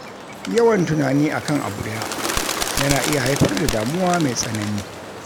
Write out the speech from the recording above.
Yawan tunani akan abu daya yana iya haifar da damuwa mai tsanani.